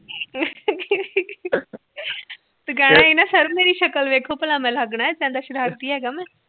ਹੀ ਤੂੰ ਕਹਿਣਾ ਸਰ ਮੇਰੀ ਸ਼ਕਲ ਦੇਖੋ ਭਲਾ ਮੈ ਲਗਦਾ ਸ਼ਰਾਰਤੀ ਹੇਗਾ